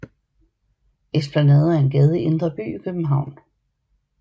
Esplanaden er en gade i Indre By i København